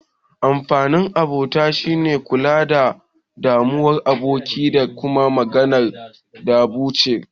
Amfanin abota shine kulawa da damuwar aboki, da kuma magance damuwar